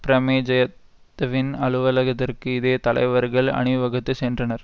பிரமேஜயத்துவின் அலுவலகதிற்கு இதே தலைவர்கள் அணிவகுத்து சென்றனர்